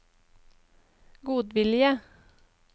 godvilje